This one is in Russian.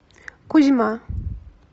кузьма